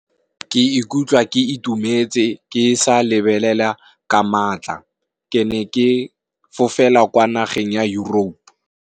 Ke ikutlwa ke itumetse ke sa lebelela ka maatla, ke ne ke fofela kwa nageng ya Europe.